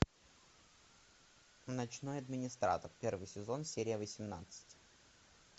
ночной администратор первый сезон серия восемнадцать